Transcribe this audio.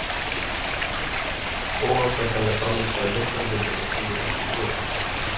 Óásættanleg frammistaða í Meistaradeildinni skilur eftir sig ör.